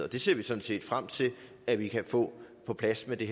det ser vi sådan set frem til at vi kan få på plads med det